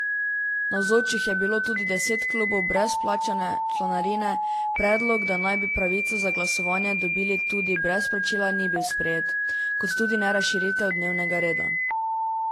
Navzočih je bilo tudi deset klubov brez plačane članarine, predlog, da naj bi pravico za glasovanje dobili tudi brez plačila ni bil sprejet, kot tudi ne razširitev dnevnega reda.